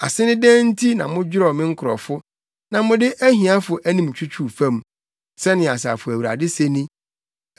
Ase ne dɛn nti na modwerɛw me nkurɔfo na mode ahiafo anim twitwiw fam?” Sɛnea Asafo Awurade se ni.